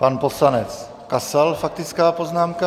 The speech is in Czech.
Pan poslanec Kasal, faktická poznámka.